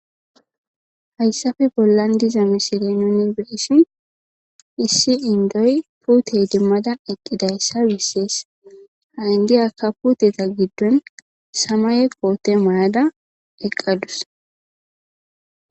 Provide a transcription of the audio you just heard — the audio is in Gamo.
Haysappe bollan diza misile nun be'ishn issi Indoy pute idimada eqidaysa beses. Ha indiyaka puteta gidon samaye kote mayada eqadus.